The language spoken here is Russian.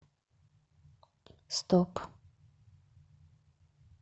стоп